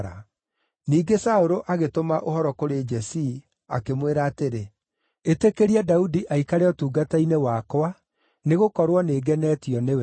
Ningĩ Saũlũ agĩtũma ũhoro kũrĩ Jesii, akĩmwĩra atĩrĩ, “Ĩtĩkĩria Daudi aikare ũtungata-inĩ wakwa nĩgũkorwo nĩngenetio nĩwe.”